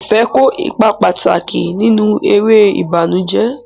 Ife kó ipa pàtàkì nínú eré ìbànújẹ́.